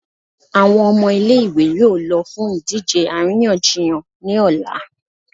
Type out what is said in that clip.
Awọn ọmọ ile-iwe yóò lọ fún idije aríyànjiyàn ni ọla.